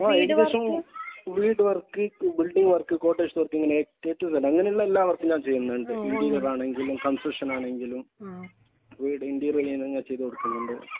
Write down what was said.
ആഹ്. ഏകദേശം work quotation അങ്ങനെയുള്ള എല്ലാ ആണെങ്കിലും കൺസ്ട്രക്ഷൻ ആണെങ്കിലും. വീടിന്റെ ഇന്റീരിയർ പണിയെല്ലാം ചെയ്തു കൊടുക്കുന്നുണ്ട്.